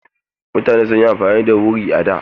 Mutane sun yi amfani da wuri a da.